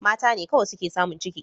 Mata ne kawai suke samun ciki